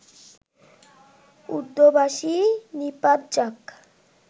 উর্দুভাষী নিপাত যাক